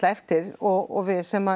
eftir og við sem